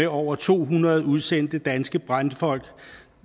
over to hundrede udsendte danske brandfolk